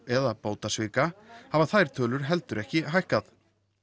eða bótasvika hafa þær tölur heldur ekki hækkað